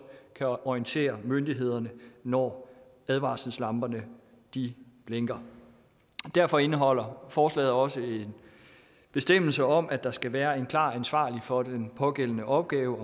orientere myndighederne når advarselslamperne blinker derfor indeholder forslaget også en bestemmelse om at der skal være en klar ansvarlig for den pågældende opgave